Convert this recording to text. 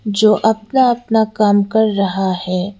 जो अपना-अपना काम कर रहा है।